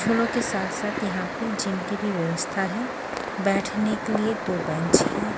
झूलो के साथ साथ यहां पे जीम की भी व्यवस्था है बैठने के लिए दो बेंच हैं।